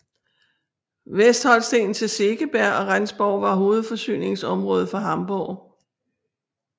Vestholsten til Segeberg og Rendsborg var hovedforsyningsområde for Hamborg